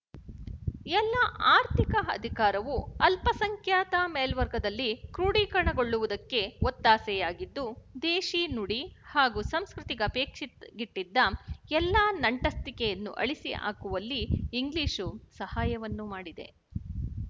ಎಲ್ಲ ಆರ್ಥಿಕ ಅಧಿಕಾರವು ಅಲ್ಪಸಂಖ್ಯಾತ ಮೇಲ್ವರ್ಗದಲ್ಲಿ ಕ್ರೋಡೀಕರಣಗೊಳ್ಳುವುದಕ್ಕೆ ಒತ್ತಾಸೆಯಾಗಿದ್ದು ದೇಶಿ ನುಡಿ ಹಾಗೂ ಸಂಸ್ಕೃತಿ ಗಪೇಕ್ಷಿಟ್ಟಿಗಿದ್ದ ಎಲ್ಲಾ ನಂಟಸ್ತಿಕೆಯನ್ನು ಅಳಿಸಿ ಹಾಕುವಲ್ಲಿ ಇಂಗ್ಲಿಶು ಸಹಾಯವನ್ನು ಮಾಡಿದೆ